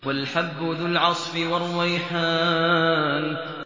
وَالْحَبُّ ذُو الْعَصْفِ وَالرَّيْحَانُ